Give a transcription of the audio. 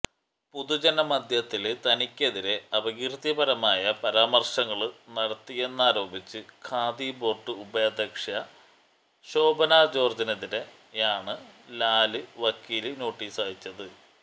പൊതുജന മധ്യത്തില് തനിക്കെതിരേ അപകീര്ത്തികരമായ പരാമര്ശങ്ങള് നടത്തിയെന്നാരോപിച്ച് ഖാദി ബോര്ഡ് ഉപാധ്യക്ഷ ശോഭന ജോര്ജ്ജിനെതിരേയാണ് ലാല് വക്കീല് നോട്ടീസയച്ചത്